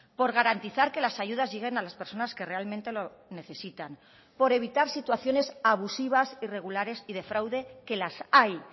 por garantizar que las ayudas lleguen a las personas que realmente lo necesitan por evitar situaciones abusivas irregulares y de fraude que las hay